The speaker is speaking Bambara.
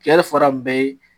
fɔra bɛɛ ye.